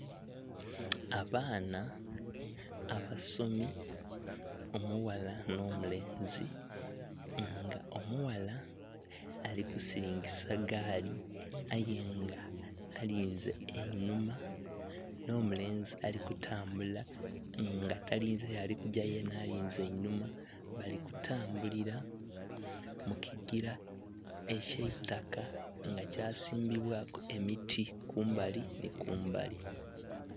Abaana abasomi omughala n'omulenzi nga omughala alikusiringisa gaali ayenga alinze enhuma n'omulenzi alikutambula nga yena talinze yalikuga nga yena alinze inhuma balikutambulira mukigira ekyaitaka nga kyasimbibwa ku emiti kumbali ni kumbali.